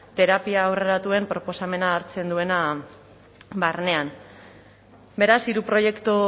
terapia aurreratuen proposamena hartzen duena barnean beraz hiru proiektu